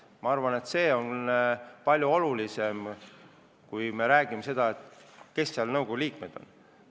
Ma arvan, et see on palju olulisem sellest, kes nõukogu liikmed on.